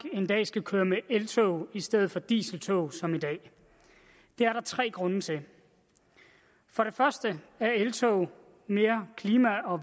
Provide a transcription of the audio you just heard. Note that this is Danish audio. en dag skal køre med eltog i stedet for med dieseltog som i dag det er der tre grunde til for det første er eltog mere klima og